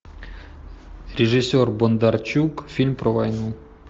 режиссер бондарчук фильм про войну